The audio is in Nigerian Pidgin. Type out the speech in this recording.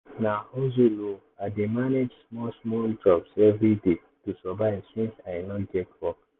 na hustle o i dey manage small-small jobs every day to survive since i no get office work.